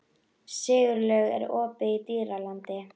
Siglaugur, er opið í Dýralandi?